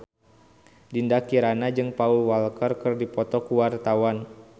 Dinda Kirana jeung Paul Walker keur dipoto ku wartawan